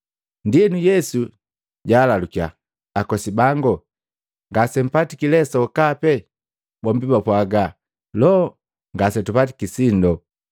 Ndienu, Yesu jaalalukiya, “Akosi bangu ngasempatiki le sokape?” Bombi bapwaaga, “Loo! Ngasetupatiki sindo.”